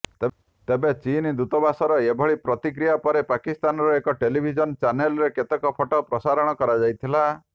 ତେବେ ଚୀନ ଦୂତାବାସର ଏଭଳି ପ୍ରତିକ୍ରିୟା ପରେ ପାକିସ୍ତାନର ଏକ ଟେଲିଭିଜନ ଚ୍ୟାନେଲରେ କେତେକ ଫଟୋ ପ୍ରସାରଣ କରାଯାଇଥିଲା